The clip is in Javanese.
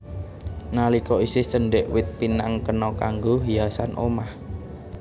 Nalika isih cendhèk wit pinang kena kanggo hiasan omah